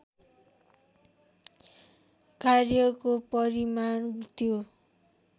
कार्यको परिमाण त्यो